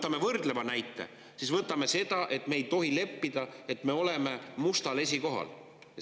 Kui me võtame näiteks võrdluse, siis me ei tohi leppida, et me oleme mustal esikohal.